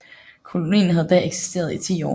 Kolonien havde da eksisteret i 10 år